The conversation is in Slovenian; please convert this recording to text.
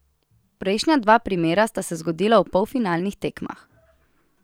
Prejšnja dva primera sta se zgodila v polfinalih tekmah.